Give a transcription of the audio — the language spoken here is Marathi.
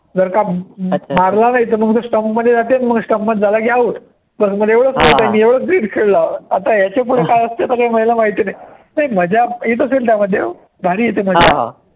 जर का मा मारला नाही, तर मग ते stump मध्ये जाते, मग stump मध्ये झाला की out, stump मध्ये एवढचं मी एवढचं खेळलो, आता याच्या पुढे काय असते ते मला काही माहिती नाही. नाही मजा येतं असेल त्यामध्ये ओ